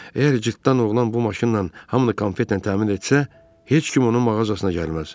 Əgər cırtdan oğlan bu maşınla hamını konfetlə təmin etsə, heç kim onun mağazasına gəlməz.